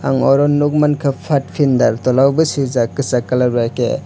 ang oro nog mangka pathfinder tola bo sijakh kisak colour bai ke.